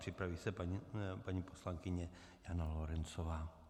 Připraví se paní poslankyně Jana Lorencová.